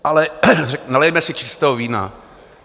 Ale nalijme si čistého vína.